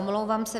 Omlouvám se.